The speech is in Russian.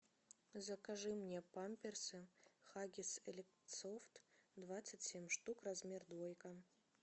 закажи мне памперсы хаггис элит софт двадцать семь штук размер двойка